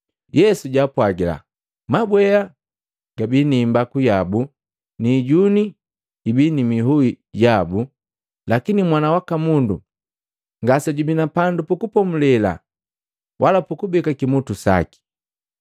Yesu jaapwagila, “Mabwea gabi ni imbaku yabu ni ijuni ibi ni ihui yabu, lakini Mwana waka Mundu ngasejubi na pandu pukupomulela wala pukubeka kimutu saki.”